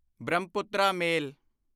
Brahmaputra ਮੇਲ